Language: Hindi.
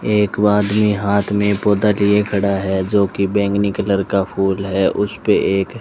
एक वो आदमी हाथ में पौधा लिए खड़ा है जो कि बैंगनी कलर का फूल है उसपे एक--